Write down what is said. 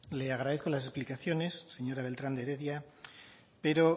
le agradezco las explicaciones señora beltrán de heredia pero